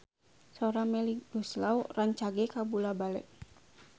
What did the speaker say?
Sora Melly Goeslaw rancage kabula-bale